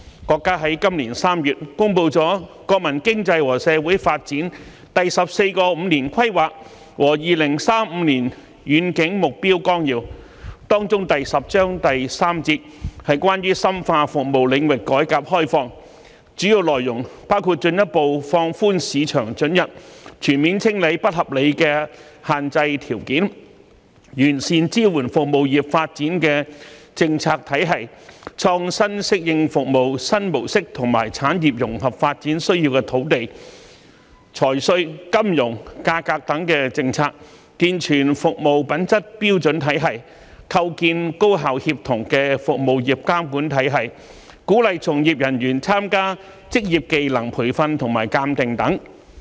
國家在今年3月公布了《中華人民共和國國民經濟和社會發展第十四個五年規劃和2035年遠景目標綱要》，當中第十章第三節是關於"深化服務領域改革開放"，主要內容包括進一步放寬市場准入，全面清理不合理的限制條件；完善支援服務業發展的政策體系，創新適應服務新模式和產業融合發展需要的土地、財稅、金融、價格等政策；健全服務品質標準體系；構建高效協同的服務業監管體系；鼓勵從業人員參加職業技能培訓和鑒定等。